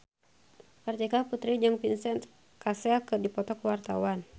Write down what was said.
Kartika Putri jeung Vincent Cassel keur dipoto ku wartawan